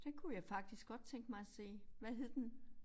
Den kunne jeg faktisk godt tænke mig at se. Hvad hed den?